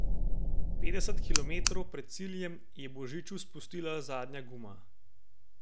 Petdeset kilometrov pred ciljem je Božiču spustila zadnja guma.